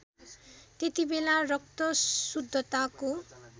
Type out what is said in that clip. त्यतिबेला रक्त शुद्धताको